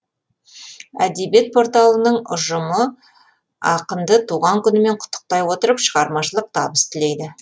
әдебиет порталының ұжымы ақынды туған күнімен құттықтай отырып шығармашылық табыс тілейді